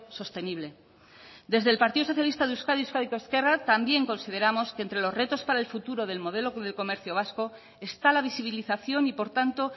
sostenible desde el partido socialista de euskadi euskadiko ezkerra también consideramos que entre los retos para el futuro del modelo de comercio vasco está la visibilización y por tanto